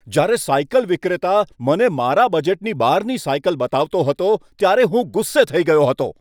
જ્યારે સાયકલ વિક્રેતા મને મારા બજેટની બહારની સાયકલ બતાવતો હતો ત્યારે હું ગુસ્સે થઈ ગયો હતો.